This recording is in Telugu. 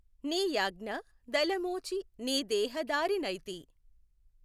నీయాజ్ఞ దలమోచి నీదేహధారి నైతి।